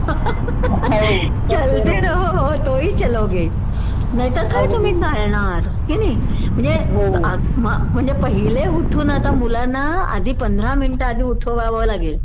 चलते रहो तोही चलोगे नाहीतर काय तुम्ही चालणार किनई म्हणजे म्हणजे पहिले उठवून आता मुलांना आधी पंधरा मिनिटं आधी उठवावं लागेल